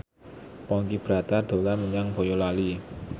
Ponky Brata dolan menyang Boyolali